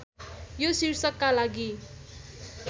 यो शीर्षकका लागि